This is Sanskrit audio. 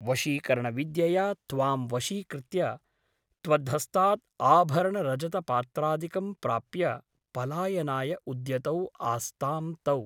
वशीकरणविद्यया त्वां वशीकृत्य त्वद्धस्तात् आभरणरजतपात्रादिकं प्राप्य पलायनाय उद्यतौ आस्तां तौ ।